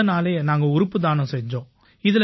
அடுத்த நாளே நாங்க உறுப்பு தானம் செய்தோம்